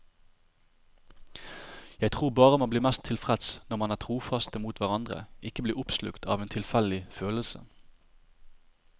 Jeg tror bare man blir mest tilfreds når man er trofaste mot hverandre, ikke blir oppslukt av en tilfeldig følelse.